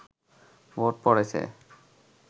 vote পড়েছে